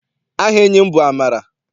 Aha enyi m bụ Amara.